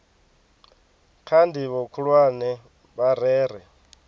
kha ndivho khulwane vha rere